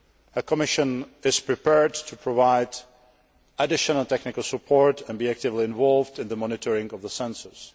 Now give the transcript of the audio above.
The Commission is prepared to provide additional technical support and be actively involved in the monitoring of the census.